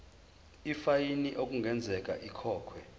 ifayini okungenzeka ikhokhwe